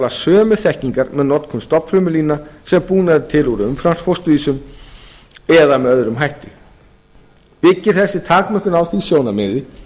sömu þekkingar með notkun stofnfrumulína sem búnar eru til úr umframfósturvísum eða með öðrum hætti byggir þessi takmörkun á því sjónarmiði